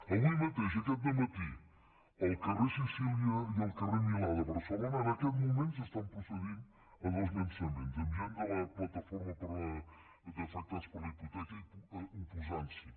avui mateix aquest dematí al carrer sicília i al carrer milà de barcelona en aquest moment s’està procedint a dos llançaments amb gent de la plataforma d’afectats per la hipoteca oposant s’hi